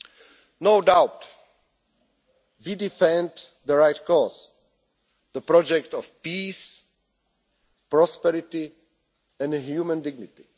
There is no doubt we defend the right cause the project of peace, prosperity and human dignity.